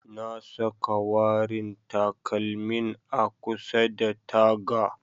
Na saka warin takalmin a kusa da taga.